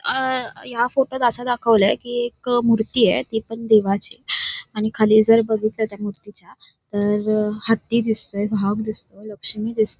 अ या फोटोत असं दाखवलं की एक मूर्ती आहे ती पण देवाची आणि खालील जर बघितलं तर त्या मूर्तीच्या हत्ती दिसतंय वाघ दिसतोय लक्ष्मी दिसते.